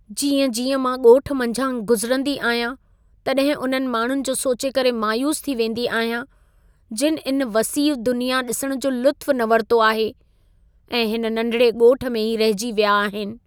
जीअं-जीअं मां ॻोठ मंझां गुज़िरंदी आहियां, तॾहिं उन्हनि माण्हुनि जो सोचे करे मायूस थी वेंदी आहियां जिनि इन वसीउ दुनिया ॾिसण जो लुत्फ़ु न वरितो आहे ऐं हिन नंढिड़े ॻोठ में ई रहिजी विया आहिनि।